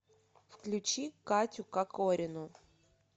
включи катю кокорину